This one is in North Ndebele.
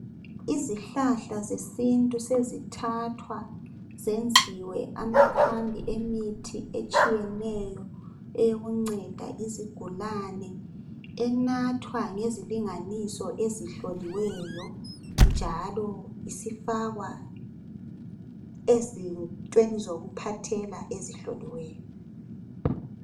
Izihlahla zesintu sezithathwa zenziwe amakhambi emithi etshiyeneyo eyokunceda izigulane ,enathwa ngezilinganiso ezihloliweyo njalo isifakwa ezintweni zokuphathela ezihloliweyo.